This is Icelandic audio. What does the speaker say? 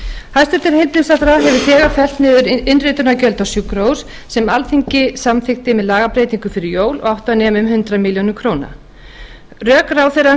hæstvirtur heilbrigðisráðherra hefur þegar fellt niður innritunargjöld á sjúkrahús sem alþingi samþykkti með lagabreytingu fyrir jól og átti að nema um hundrað milljónir króna rök ráðherrans voru